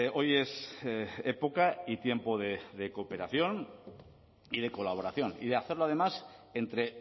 hoy es época y tiempo de cooperación y de colaboración y de hacerlo además entre